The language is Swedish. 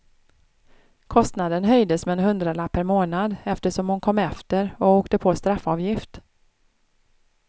Kostnaden höjdes med en hundralapp per månad eftersom hon kom efter och åkte på straffavgift.